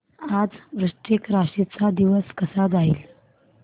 आज वृश्चिक राशी चा दिवस कसा जाईल